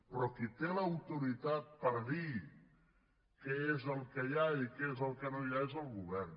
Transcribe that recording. però qui té l’autoritat per dir què és el que hi ha i què és el que no hi ha és el govern